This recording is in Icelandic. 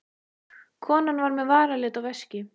Konan var með varalit og veski.